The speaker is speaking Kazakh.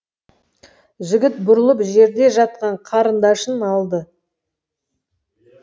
жігіт бұрылып жерде жатқан қарындашын алды